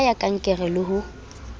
ka ya kankere le ho